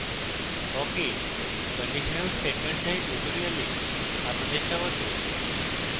awk এ conditional statements এর tutorial আপনাদের স্বাগত